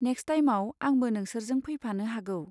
Next टाइमआव आंबो नोंसोरजों फैफानो हागौ।